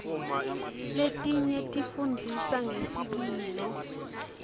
letinye tifundzisa ngesikilo